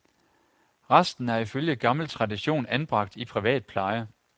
Resten er ifølge gammel tradition anbragt i privat pleje.